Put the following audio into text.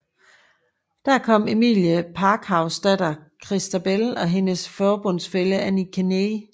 Der kom Emmeline Pankhursts datter Christabel og hendes forbundsfælle Annie Kenney